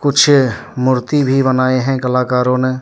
कुछ मूर्ति भी बनाए हैं कलाकारों ने।